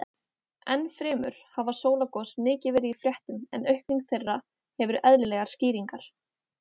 Enn fremur hafa sólgos mikið verið í fréttum en aukning þeirra hefur eðlilegar skýringar.